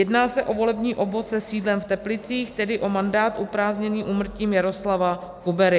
Jedná se o volební obvod se sídlem v Teplicích, tedy o mandát uprázdněný úmrtím Jaroslava Kubery.